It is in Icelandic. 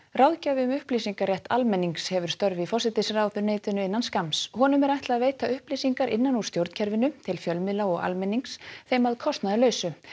ráðgjafi um upplýsingarétt almennings hefur störf í forsætisráðuneytinu innan skamms honum er ætlað að veita upplýsingar innan úr stjórnkerfinu til fjölmiðla og almennings þeim að kostnaðarlausu